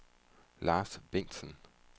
Lars Bengtsen